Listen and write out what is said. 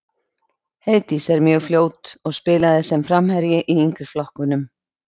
Heiðdís er mjög fljót og spilaði sem framherji í yngri flokkunum.